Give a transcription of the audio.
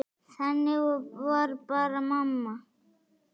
Þannig var bara mamma.